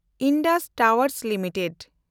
Indus ᱴᱟᱣᱮᱱᱰ limited